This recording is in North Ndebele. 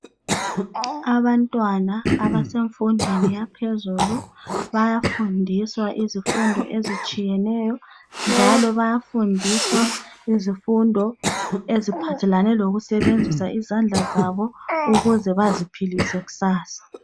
Abantwana abasemfundweni yaphezulu bayafundiswa izifundo ezitshiyeneyo ,njalo bayafundiswa izifundo eziphathelane lokusebenzisa izandla zabo ukuze baziphilise kusasa.